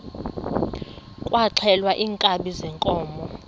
kwaxhelwa iinkabi zeenkomo